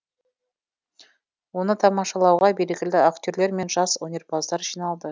оны тамашалауға белгілі актерлер мен жас өнерпаздар жиналды